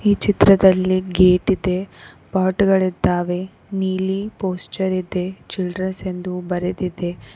ಈ ಚಿತ್ರದಲ್ಲಿ ಗೇಟ್ ಇದೆ ಪಾಟ್ ಗಳಿದ್ದಾವೆ ನೀಲಿ ಪೋಸ್ಚರ ಇದೆ ಛಿಡ್ರೆಸ್ ಎಂದು ಬರೆದಿದೆ.